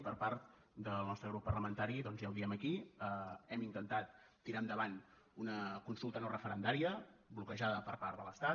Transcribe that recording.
i per part del nostre grup parlamentari doncs ja ho diem aquí hem intentat tirar endavant una consulta no referendària bloquejada per part de l’estat